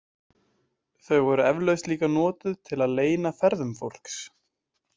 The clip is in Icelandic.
Þau voru eflaust líka notuð til að leyna ferðum fólks.